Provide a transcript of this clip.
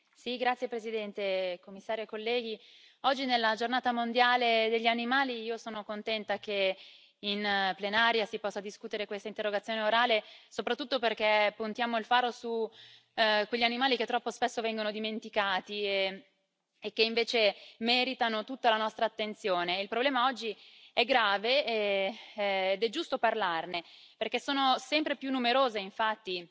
Signora Presidente, onorevoli colleghi, Commissario, oggi nella Giornata mondiale degli animali, io sono contenta che in plenaria si possa discutere questa interrogazione orale, soprattutto perché puntiamo il faro su quegli animali che troppo spesso vengono dimenticati e che invece meritano tutta la nostra attenzione. Il problema oggi è grave ed è giusto parlarne perché sono sempre più numerose, infatti,